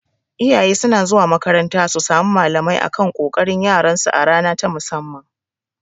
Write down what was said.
Iyaye suna zuwa makaranta su samu malamai akan ƙoƙarin yaran su a rana ta musamman